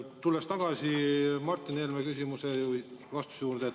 Tulen tagasi Martin Helme küsimuse või vastuse juurde.